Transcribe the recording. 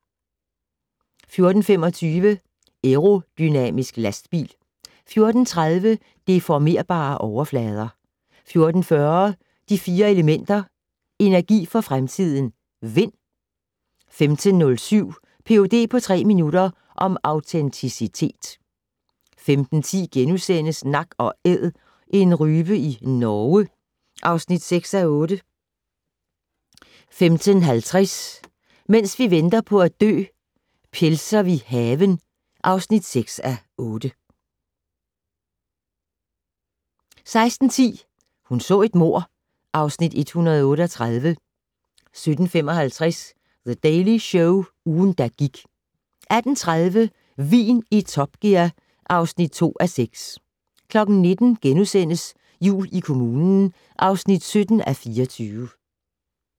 14:25: Aerodynamisk lastbil 14:30: Deformerbare overflader 14:40: De Fire Elementer - energi for fremtiden: Vind 15:07: Ph.d. på tre minutter - om autenticitet 15:10: Nak & Æd - en rype i Norge (6:8)* 15:50: Mens vi venter på at dø - Pelser vi haven (6:8) 16:10: Hun så et mord (Afs. 138) 17:55: The Daily Show - ugen, der gik 18:30: Vin i Top Gear (2:6) 19:00: Jul i kommunen (17:24)*